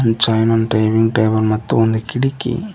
ಜೋಯ್ನನ್ನ ಟೈವಿಂಗ ಟೇಬಲ್ ಮತ್ತು ಒಂದು ಕಿಡಕಿ.